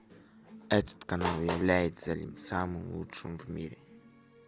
этот канал является ли самым лучшим в мире